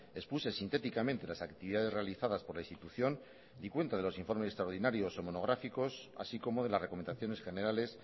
expuse sintéticamente las actividades realizadas por la institución di cuenta de los informes extraordinarios o monográficos así como de las recomendaciones generales